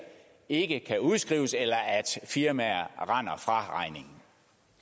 ikke kan udskrives eller at firmaer